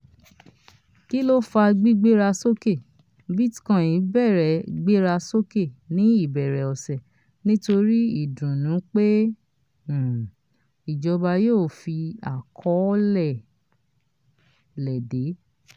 kí ló fà gbígbéra sókè: bitcoin bẹ̀rẹ̀ gbéra sókè ní ìbẹ̀rẹ̀ ọ̀sẹ̀ nítorí ìdùnnú pé um ìjọba yíò fi àkọọ́lẹ̀ léde.